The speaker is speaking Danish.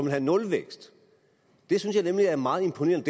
have nulvækst det synes jeg er meget imponerende